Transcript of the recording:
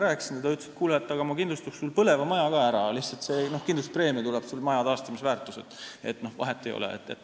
Ta ütles, et kuule, ma kindlustaks sul põleva maja ka ära, lihtsalt kindlustuse hind tuleb sul maja taastamise väärtuses, nii et vahet ei ole.